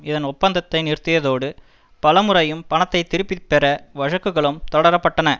இதன் ஒப்பந்தத்தை நிறுத்தியதோடு பலமுறையும் பணத்தை திருப்பி பெற வழக்குகளும் தொடர பட்டன